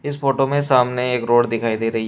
इस फोटो में सामने एक रोड दिखाई दे रही--